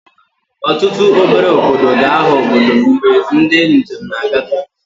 Ọtụtụ obere obodo ga-aghọ obodo mgbe ndị njem na-agafe